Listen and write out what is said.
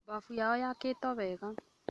Mbafu yao yaakĩtwo wega